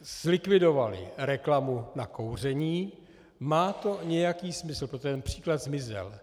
zlikvidovali reklamu na kouření, má to nějaký smysl, protože ten příklad zmizel.